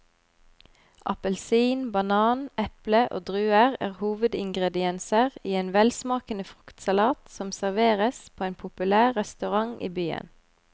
Appelsin, banan, eple og druer er hovedingredienser i en velsmakende fruktsalat som serveres på en populær restaurant i byen.